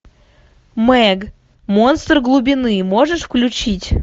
мег монстр глубины можешь включить